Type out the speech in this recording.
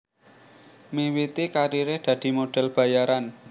Miwiti kariré dadi model bayaran